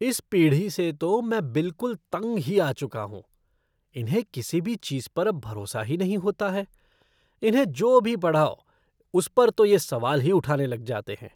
इस पीढ़ी से तो मैं बिलकुल तंग ही आ चुका हूँ, इन्हें किसी भी चीज़ पर अब भरोसा ही नहीं होता है, इन्हें जो भी पढ़ाओ उस पर तो ये सवाल ही उठाने लग जाते हैं।